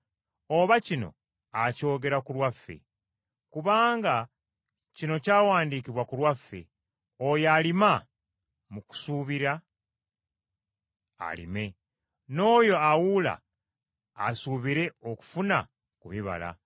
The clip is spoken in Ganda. oba kino akyogera ku lwaffe? Kubanga kino kyawandiikibwa ku lwaffe, oyo alima mu kusuubira alime, n’oyo awuula asuubire okufuna ku bibala.